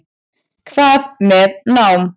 Hvað með nám?